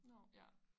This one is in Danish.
Nåh ja